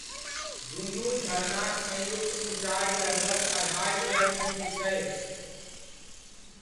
दुनू झरनाक संयुक्त ऊँचाइ लगभग अढ़ाइ सए फीट छै।